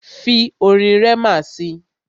Fi orin Rema si!